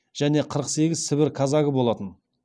және қырық сегіз сібір казагы болатын